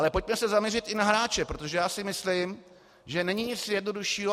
Ale pojďme se zaměřit i na hráče, protože já si myslím, že není nic jednoduššího.